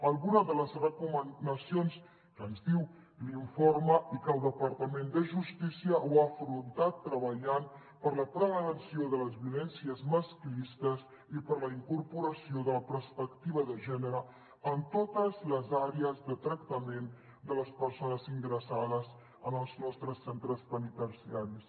alguna de les recomanacions que ens diu l’informe i que el departament de justícia ho ha afrontat treballant per la prevenció de les violències masclistes i per la incorporació de la perspectiva de gènere en totes les àrees de tractament de les persones ingressades en els nostres centres penitenciaris